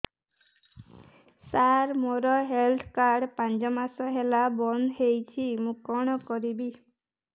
ସାର ମୋର health card ପାଞ୍ଚ ମାସ ହେଲା ବଂଦ ହୋଇଛି ମୁଁ କଣ କରିବି